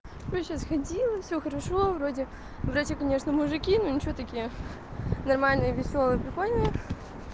короче сейчас ходила всё хорошо вроде вроде конечно мужики но ничего такие нормальные весёлые прикольные